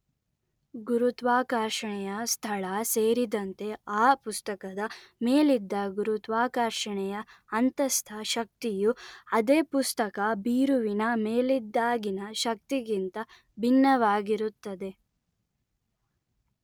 ಗುರುತ್ವಾಕರ್ಷಣೆಯ ಸ್ಥಳ ಸೇರಿದಂತೆ ಆ ಪುಸ್ತಕದ ಮೇಲಿದ್ದ ಗುರುತ್ವಾಕರ್ಷಣೆಯ ಅಂತಸ್ಥ ಶಕ್ತಿಯು ಅದೇ ಪುಸ್ತಕ ಬೀರುವಿನ ಮೇಲಿದ್ದಾಗಿನ ಶಕ್ತಿಗಿಂತ ಭಿನ್ನವಾಗಿರುತ್ತದೆ